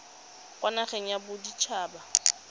kwa nageng ya bodit haba